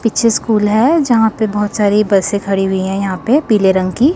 पीछे स्कूल है यहां पे बहुत सारे बसें खड़ी हुई हैं यहां पे पीले रंग की।